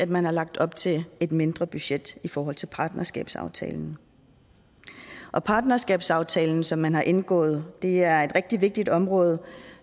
man har lagt op til et mindre budget i forhold til partnerskabsaftalen partnerskabsaftalen som man har indgået er et rigtig vigtigt område